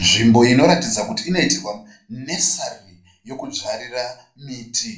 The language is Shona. Nzvimbo inoratidza kuti inoitirwa nesari yekudzvarira miti.